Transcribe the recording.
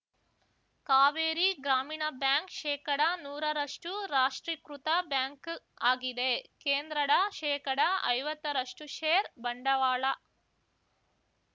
ಕಾವೇರಿ ಗ್ರಾಮೀಣ ಬ್ಯಾಂಕ್‌ ಶೇಕಡ ನೂರರಷ್ಟುರಾಷ್ಟ್ರೀಕೃತ ಬ್ಯಾಂಕ್‌ ಆಗಿದೆ ಕೇಂದ್ರಡ ಶೇಕಡ ಐವತ್ತರಷ್ಟುಷೇರ್ ಬಂಡವಾಳ